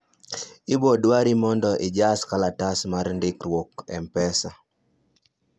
ibo dwari mondo ijas kalatas mar ndikruok mpesa